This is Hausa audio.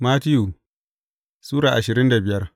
Mattiyu Sura ashirin da biyar